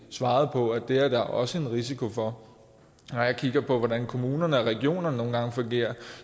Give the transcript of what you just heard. svarede på at det er der også en risiko for når jeg kigger på hvordan kommunerne og regionerne nogle gange fungerer